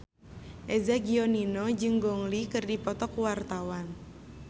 Eza Gionino jeung Gong Li keur dipoto ku wartawan